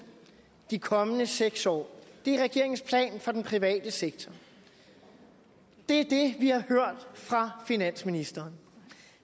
i de kommende seks år er regeringens plan for den private sektor det er det vi hører fra finansministeren